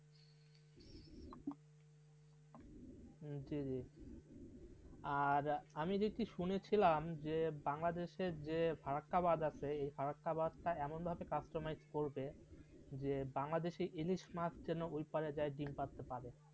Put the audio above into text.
হ্যাঁ জি জি আর আমি যেতে শুনেছিলাম যে বাংলাদেশের যে ফারাক্কাবাধ আছে এই ফারাক্কাবাধ চা এমনভাবে কষ্ট মাইজ করবে সে বাংলাদেশি ইলিশ পাঁচজন মে ওইপারে যায় দিন পারতে পারে.